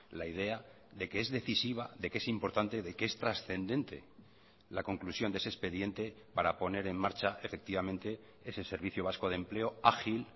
la idea de que es decisiva de que es importante de que es trascendente la conclusión de ese expediente para poner en marcha efectivamente ese servicio vasco de empleo ágil